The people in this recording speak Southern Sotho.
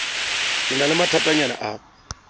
ke na le mathatanyana a